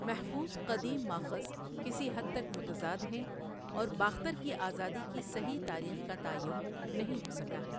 محفوظ قدیم ماخذ کسی حد تک متضاد ہیں اور باختر کی آزادی کی صحیح تاریخ کا تعین نہیں ہوسکا ہے۔